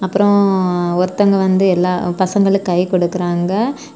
அப்புறம் ஒருத்தங்க வந்து எல்லா பசங்களுக்கு கை கொடுக்குறாங்க.